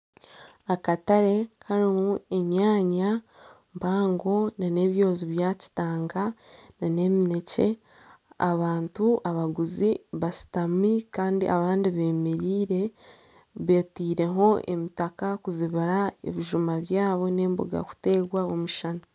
Akatare karimu enyanya mpaango nana ebyoozi bya kitanga nana eminekye , abantu abaguzi bashutami Kandi abandi bemereire, beteireho emitaka kuzibira ebijuma byaabo nana emboga kuteerwa omushana .